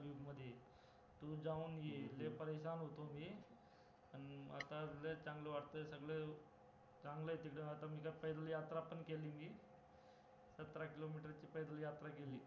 तू जाऊन ये लय होतो मी आता लय चांगलं वाटतंय सगळं चांगलंय तिकडं आता यात्रा पण केली मी सतरा किलोमीटरची यात्रा केली